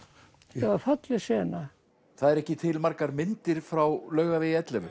þetta var falleg sena það eru ekki til margar myndir frá Laugavegi ellefu